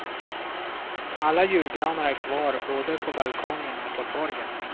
Alla julgranar är kvar både på balkongerna och på torgen.